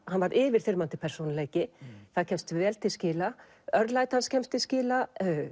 hann var yfirþyrmandi persónuleiki það kemst vel til skila örlæti hans kemst til skila